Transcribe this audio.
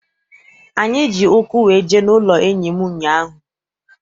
Anyị ji ụkwụ wee jee n'ụlọ enyi m ụnyaahụ.